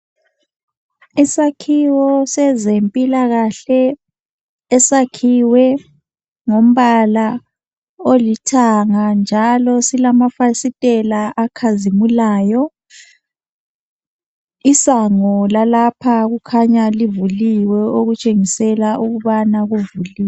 isakhiwo sezempilakahle esakhiwe ngombala olithanga njalo silamafasitela akhazimulayo isango lalapho kukhanya kuvuliwe okutshengisela ukuthi livuliwe